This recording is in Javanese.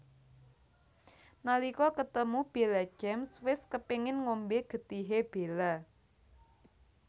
Nalika ketemu Bella James wis kepéngèn ngombé getihé Bella